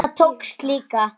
Það tókst líka.